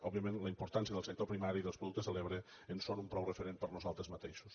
òbviament la im·portància del sector primari dels productes de l’ebre en són un prou referent per a nosaltres mateixos